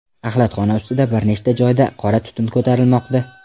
Axlatxona ustida bir necha joyda qora tutun ko‘tarilmoqda.